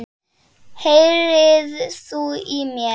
HEYRIR ÞÚ Í MÉR?!